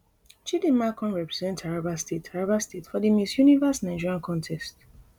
chidimma come represent taraba state taraba state for di miss universe nigeria contest